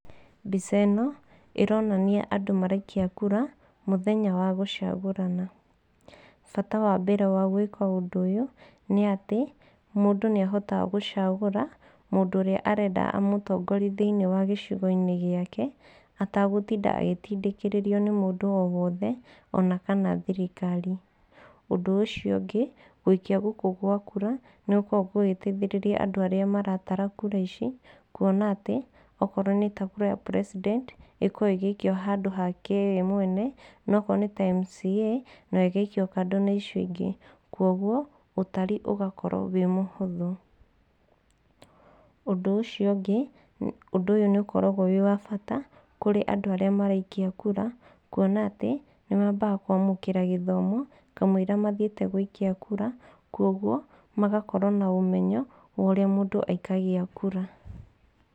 Mbica ĩno ĩronania andũ maraikia kura mũthenya wa gũcagũrana. Bata wa mbere wa gwĩka ũndũ ũyũ, nĩ atĩ mũndũ nĩahotaga gũcagũra mũndũ ũrĩa arenda amũtongorie thĩiniĩ wa gĩcigo-inĩ gĩake ategũtinda agĩtindĩkĩrĩrio nĩ mũndũ o wothe, ona kana thirikari. Ũndũ ũcio ũngĩ, gũikia gũkũ gwa kura nĩgũkoragwo gũgĩteithĩrĩria andũ arĩa maratara kura ici, kũona atĩ okorwo nĩ ta kura ya president ikoragwo ĩgĩikio handũ hake we mwene, no okorwo nĩ ta MCA nayo ĩgaikio kando na icio ingĩ, kuoguo ũtari ũgakorwo wĩ mũhũthũ. Ũndũ ũcio ũngĩ, ũndũ ũyũ nĩ ũkoragwo wĩ wa bata kũrĩ andũ arĩa maraikia kura, kũona atĩ nĩmabaga kwamũkĩra gĩthomo kamũira mathiĩte gũikia kura, kuoguo magakorwo na ũmenyo wa ũria mũndũ aikagia kura.